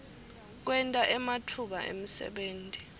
kwenta ematfuba emsebenti